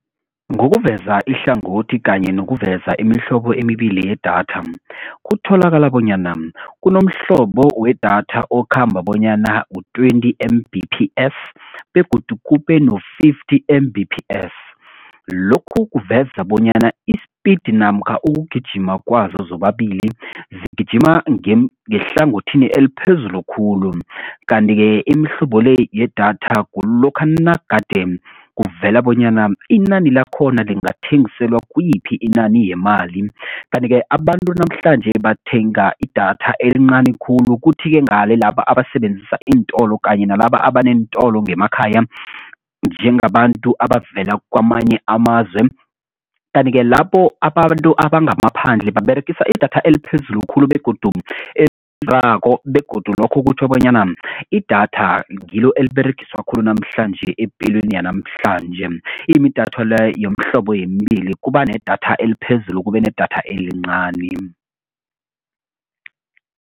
Ngokuveza ihlangothi kanye nokuveza imihlobo emibili yedatha. Kutholakala bonyana kunomhlobo wedatha okhamba bonyana ngu-twenty M_B_P_S begodu kube no-fifty M_B_P_S lokhu kuveza bonyana i-speed namkha ukugijima kwazo zobabili zigijima ngehlangothini eliphezulu khulu, kanti-ke imihlobo le yedatha kulokha nagade kuvela bonyana inani lakhona lingathengiselwa kuyiphi inani yemali. Kanti-ke abantu namhlanje bathenga idatha elincani khulu kuthi-ke ngale laba abasebenzisa iintolo kanye nalaba abaneentolo ngemakhaya njengabantu abavela kwamanye amazwe, kanti-ke labo abantu abangamaphandle baberegisa idatha eliphezulu khulu begodu begodu lokhu kutjho bonyana idatha ngilo eliberegiswa khulu namhlanje epilweni yanamhlanje yomhlobo yemibili kuba nedatha eliphezulu kube nedatha elincani.